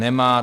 Nemá.